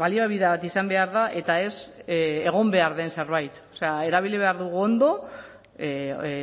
baliabide bat izan behar da eta ez egon behar den zerbait erabili behar dugu ondo